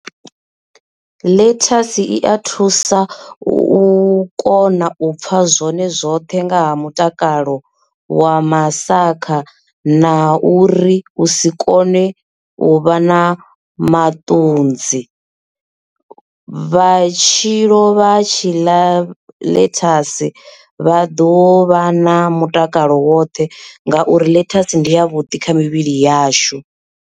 Ḽethasi i a thusa u kona u pfha zwone zwoṱhe nga ha mutakalo wa masakha na uri u si kone u vha na maṱudzi vhatshi lo vha tshi ḽa ḽethasi vha ḓo vha na mutakalo woṱhe ngauri ḽethasi ndi yavhuḓi kha mivhili yashu.